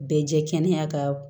Bɛɛ jɛ kɛnɛ ka